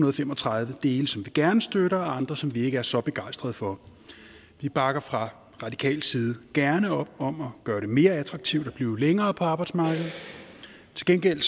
og fem og tredive dele som vi gerne støtter og andre som vi ikke er så begejstrede for vi bakker fra radikal side gerne op om at gøre det mere attraktivt at blive længere på arbejdsmarkedet til gengæld